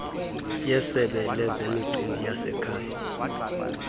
yesebe lezemicimbi yasekhaya